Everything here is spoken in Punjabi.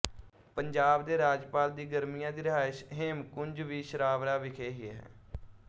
ਪੰਜਾਬ ਦੇ ਰਾਜਪਾਲ ਦੀ ਗਰਮੀਆਂ ਦੀ ਰਿਹਾਇਸ਼ ਹੇਮਕੁੰਜ ਵੀ ਛਰਾਵੜਾ ਵਿਖੇ ਹੀ ਹੈ